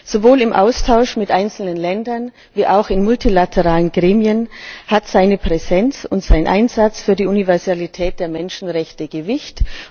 Sowohl im Austausch mit einzelnen Ländern, wie auch in multilateralen Gremien haben seine Präsenz und sein Einsatz für die Universalität der Menschenrechte Gewicht.